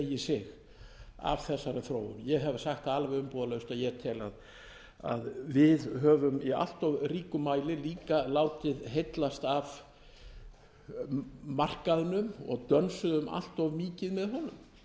þróun ég hef sagt það alveg umbúðalaust að ég tel að við höfum í allt of ríkum mæli líka látið heillast af markaðnum og dönsuðum allt of mikið með honum